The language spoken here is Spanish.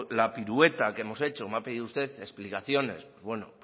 la pirueta que hemos hecho me ha pedido usted explicaciones bueno